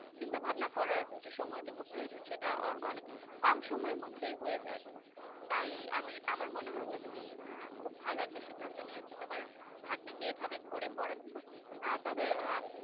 চিন্তাভাবনা করার যে সময়টুকু প্রয়োজন সেটা অনেক কম সময়ের মধ্যে হয়ে যায় তাই আমি আমার মনে হয় যে তুমি খুব ভালো একটা সিদ্ধান্ত নিয়েছো তোমার ভাগ্নিকে এভাবে করে পড়াচ্ছে আহ তবে